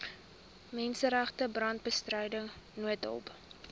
menseregte brandbestryding noodhulp